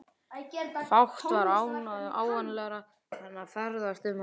Fátt var ánægjulegra en að ferðast um þennan heim.